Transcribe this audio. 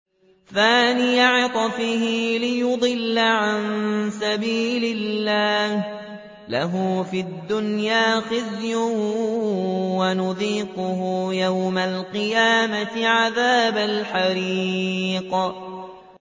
ثَانِيَ عِطْفِهِ لِيُضِلَّ عَن سَبِيلِ اللَّهِ ۖ لَهُ فِي الدُّنْيَا خِزْيٌ ۖ وَنُذِيقُهُ يَوْمَ الْقِيَامَةِ عَذَابَ الْحَرِيقِ